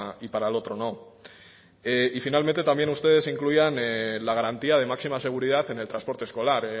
y para el otro no y finalmente también ustedes incluían la garantía de máxima seguridad en el transporte escolar